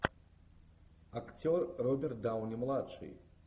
актер роберт дауни младший